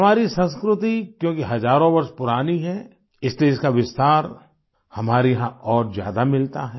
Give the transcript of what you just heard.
हमारी संस्कृति क्योंकि हजारों वर्ष पुरानी है इसलिए इसका विस्तार हमारे यहाँ और ज्यादा मिलता है